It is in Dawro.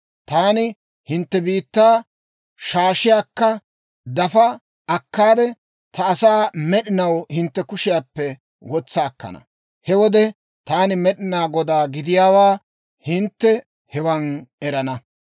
Taani hintte biittaa shaashiyaakka dafa akkaade, ta asaa med'inaw hintte kushiyaappe wotsa akkana. He wode taani Med'inaa Godaa gidiyaawaa hintte hewan erana.